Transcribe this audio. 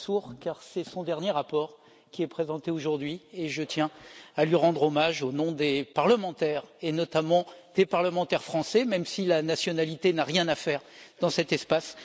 Lamassoure car c'est son dernier rapport qui est présenté aujourd'hui et je tiens à lui rendre hommage, au nom des parlementaires et notamment des parlementaires français, même si la nationalité n'a rien à faire dans cet espace.